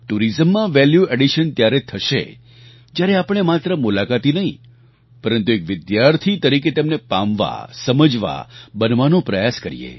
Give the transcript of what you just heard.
ટુરિઝમમાં value addition ત્યારે જ થશે જ્યારે આપણે માત્ર મુલાકાતી નહીં પરંતુ એક વિદ્યાર્થી તરીકે તેમને પામવાસમજવાબનવાનો પ્રયાસ કરીએ